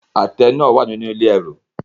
Àtẹ náà wà nínú ilé ẹrù.